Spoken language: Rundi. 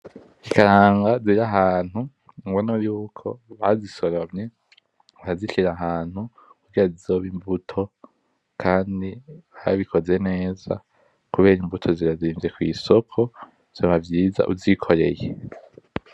Ikaranga ziri ahantu, urabona yuko bazisoromye, bakazishira ahantu kugira zizobe imbuto. Kandi babikoze neza kubera imbuto zirazimvye kw'isoko, vyoba vyiza uvyikoreye.